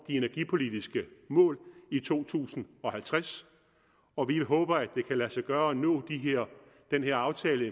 de energipolitiske mål i to tusind og halvtreds og vi håber at det kan lade sig gøre at nå den her aftale